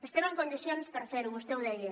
estem en condicions per fer ho vostè ho deia